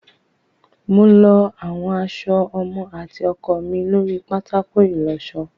Mo lọ àwọn aṣọ ọmọ àti ọkọ mi lórí pátákó ìlọṣọ.